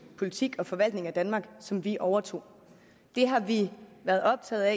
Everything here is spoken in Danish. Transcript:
politik og den forvaltning af danmark som vi overtog det har vi været optaget af at